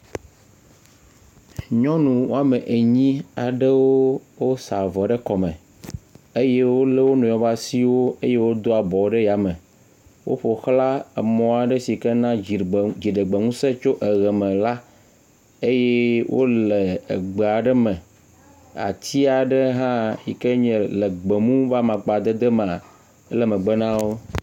Nyɔnu woa me enyi aɖewo sa avɔ ɖe kɔ me eye wole wonɔewo ƒe asiwo eye wodoa abɔwo ɖe ayame. Woƒo xla mɔa ɖe sike na dziɖegbe ŋuse tso eʋe me la eye wole gbe aɖe me, atia ɖe hã yike nye gbemu ƒe amakpadede maa, ele megbe nawo.